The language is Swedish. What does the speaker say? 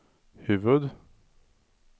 huvud